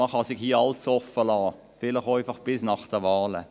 Man kann sich damit alles offenlassen, vielleicht einfach bis nach den Wahlen.